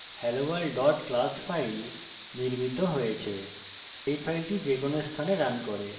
আমরা দেখতে পারি যে helloworld class file নির্মিত হয়েছে